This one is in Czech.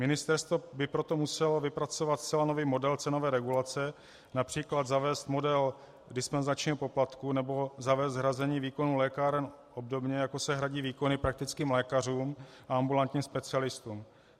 Ministerstvo by proto muselo vypracovat zcela nový model cenové regulace, například zavést model dispenzačního poplatku nebo zavést hrazení výkonu lékáren obdobně, jako se hradí výkony praktickým lékařům a ambulantním specialistům.